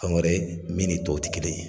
Fɛn wɛrɛ ye min ni tɔw ti kelen.